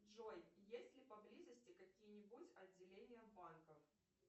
джой есть ли поблизости какие нибудь отделения банков